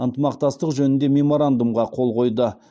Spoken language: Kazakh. ынтымақтастық жөніндегі меморандумға қол қойды